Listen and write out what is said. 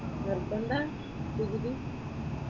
നിർബന്ധവാ degree?